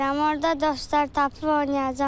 Orada dostlar tapıb oynayacam.